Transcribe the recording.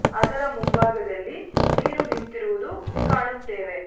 ಅದರ ಮುಂಭಾಗದಲ್ಲಿ ನೀರು ನಿಂತಿರುವುದು ಕಾಣುತ್ತೇವೆ.